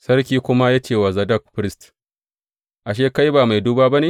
Sarki ya kuma ce wa Zadok firist, Ashe, kai ba mai duba ba ne?